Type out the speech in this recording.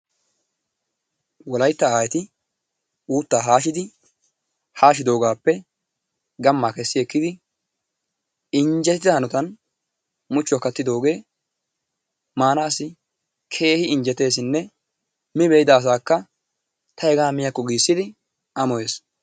Wolaytta aayyeti uuttaa haashshidi haashshidoogappe gammaa keessi ekkidi injjettida hanotaan muchchuwaa kaattidogee maanassi keehi injjetessinne mi be"ida asaaka ta hegaa miyakko giissidi amoyees.